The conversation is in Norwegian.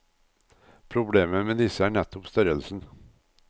Problemet med disse er nettopp størrelsen.